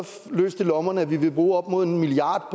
løst i lommerne at vi vil bruge op imod en milliard